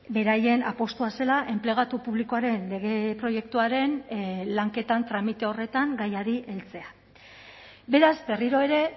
beraien apustua zela enplegatu publikoaren lege proiektuaren lanketan tramite horretan gaiari heltzea beraz berriro ere